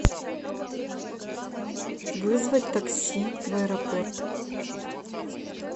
вызвать такси в аэропорт